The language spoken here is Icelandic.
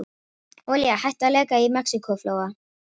Olía hætt að leka í Mexíkóflóa